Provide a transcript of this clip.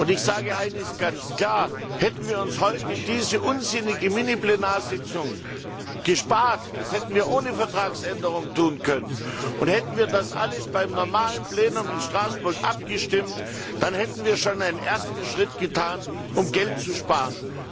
Ich sage eines ganz klar Hätten wir uns heute diese unsinnige Miniplenarsitzung gespart das hätten wir ohne Vertragsänderung tun können und hätten wir das alles beim normalen Plenum in Straßburg abgestimmt, dann hätten wir schon einen ersten Schritt getan, um Geld zu sparen.